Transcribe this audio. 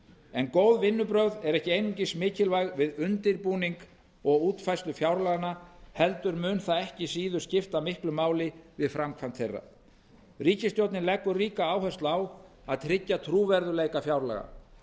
en góð vinnubrögð eru ekki einungis mikilvæg við undirbúning og útfærslu fjárlaganna heldur mun það ekki síður skipta miklu máli við framkvæmd þeirra ríkisstjórnin leggur ríka áherslu á að tryggja trúverðugleika fjárlaga